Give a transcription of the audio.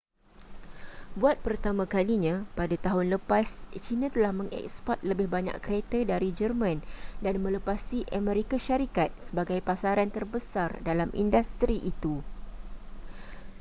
buat pertama kalinya pada tahun lepas china telah mengeksport lebih banyak kereta dari jerman dan melepasi amerika syarikat sebagai pasaran terbesar dalam industri itu